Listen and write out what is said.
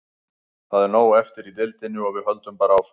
Það er nóg eftir í deildinni og við höldum bara áfram.